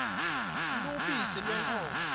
lubisi lwenkhomo